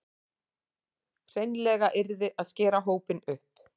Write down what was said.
Hreinlega yrði að skera hópinn upp